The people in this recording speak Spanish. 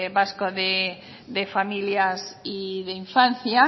vasco de familias y de infancia